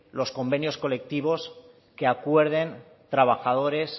los convenios colectivos que acuerden trabajadores